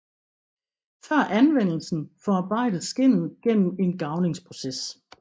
Før anvendelsen forarbejdes skindet gennem en garvningsproces